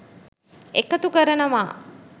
එකතු කරනවා.